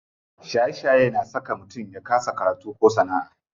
Shaye shaye na saka mutum ya kasa karatu ko sana'a.